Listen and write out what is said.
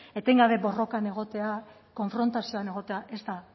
etengabe borrokan egotea konfrontazioan egotea